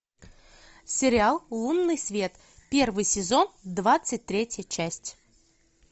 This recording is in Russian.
сериал лунный свет первый сезон двадцать третья часть